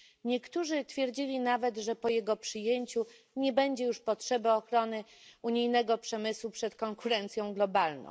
Niektórzy twierdzili nawet, że po jego przyjęciu nie będzie już potrzeby ochrony unijnego przemysłu przed konkurencją globalną.